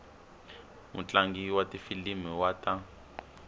mutlangi wa tifilimi wa ta